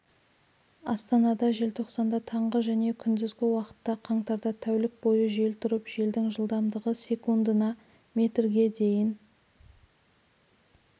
астанада желтоқсанда таңғы және күндізгі уақытта қаңтарда тәулік бойы жел тұрып желдің жылдамдығы секундына метрге дейін